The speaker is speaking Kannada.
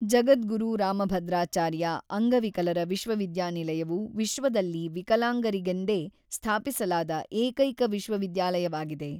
ಜಗದ್ಗುರು ರಾಮಭದ್ರಾಚಾರ್ಯ ಅಂಗವಿಕಲರ ವಿಶ್ವವಿದ್ಯಾನಿಲಯವು ವಿಶ್ವದಲ್ಲಿ ವಿಕಲಾಂಗರಿಗೆಂದೇ ಸ್ಥಾಪಿಸಲಾದ ಏಕೈಕ ವಿಶ್ವವಿದ್ಯಾಲಯವಾಗಿದೆ.